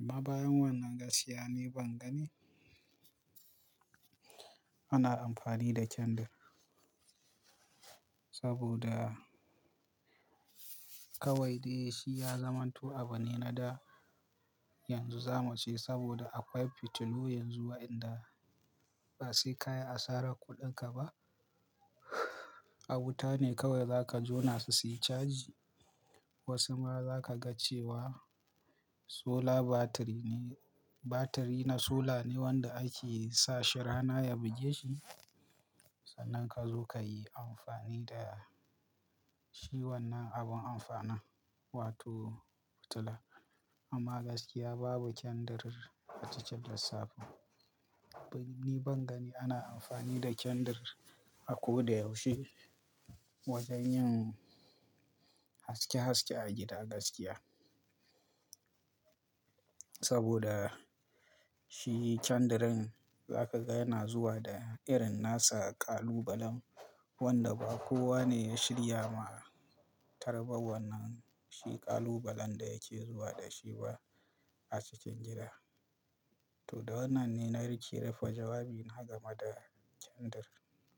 Amma bayan wannan gaskiya niban gani ana amfani da candle saboda kawai daishi ya zamanto abune nada yanzu zamuce saboda akwai fitilu yanzu wa'inda basai kayi asarar kuɗinka ba. Awutane kawai zaka jona suyi caji. Wasu lma za kaga cewa solar battery ne, battery na solar ne wanda ake sashi rana ya bugeshi sannan kazo kayi amfani da shi wannan abin amfanalin wato fitila. Amma gaskiya babu candle a cikin lissafin. Niban gani ana amfani da candle a koda yaushe wajen yin haske haske a gida gaskiya. Saboda shi candle din zakaga yana zuwa da irinnasa ƙalubalen, wanda ba kowane ya shirya ma tarba wannan shi ƙalubalen da yake zuwa dashiba a cikin gida. Toda wannan ne na riƙe rufe jawabina gameda candle.